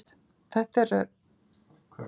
Það er annað en hægt er að segja um marga aðra.